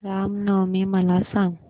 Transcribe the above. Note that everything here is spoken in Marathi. राम नवमी मला सांग